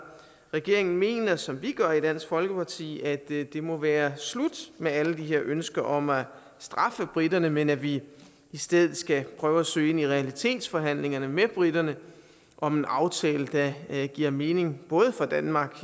regeringen mener som vi gør i dansk folkeparti at det det må være slut med alle de her ønsker om at straffe briterne men at vi i stedet skal prøve at søge ind i realitetsforhandlingerne med briterne om en aftale der giver mening både for danmark